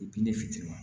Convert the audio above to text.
ne fitini na